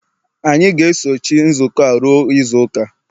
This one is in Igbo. anyị ga-esochi nzukọ a ruo izu ụka